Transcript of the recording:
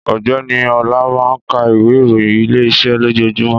Ọ̀gbẹ́ni Ọla máa ń ka ìwé ìròyìn Ilé-iṣẹ́ lójoojúmọ́